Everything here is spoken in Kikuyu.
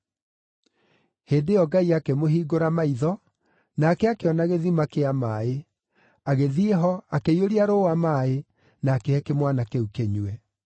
Hĩndĩ ĩyo Ngai akĩmũhingũra maitho, nake akĩona gĩthima kĩa maaĩ. Agĩthiĩ ho, akĩiyũria rũũa maaĩ, na akĩhe kĩmwana kĩu kĩnyue.